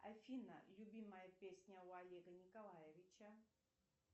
афина любимая песня у олега николаевича